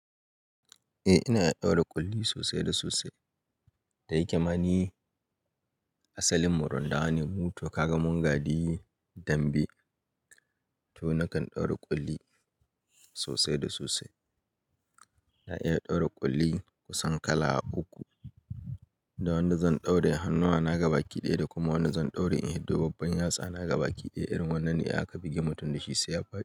Eh ina iya ɗaura ƙulli sosai da sosai. Da yake ma ni asalinmu rundawane mu to ka ga mun gadi dambe to nakan ɗaura ƙulli sosai da sosai. Na iya ɗaura ƙulli kusan kala uku, da wanda zan ɗaura hannuwa na gabaki ɗaya da kuma wanda zan ɗaure in hiddo babban yatsa na gabaki ɗaya irin wannan ne aka bige mutum da shi sai ya faɗi.